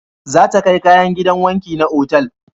Za ta kai kayan gidan wanki na otal